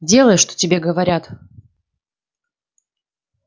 делай что тебе говорят